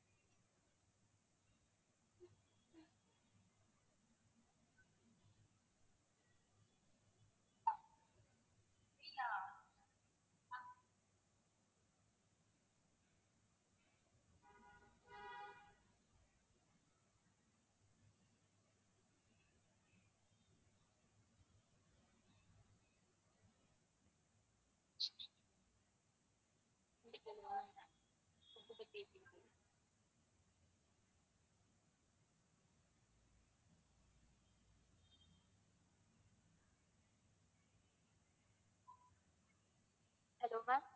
hello maam